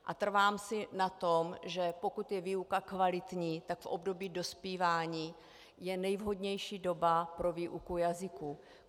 A trvám si na tom, že pokud je výuka kvalitní, tak v období dospívání je nevhodnější doba pro výuku jazyků.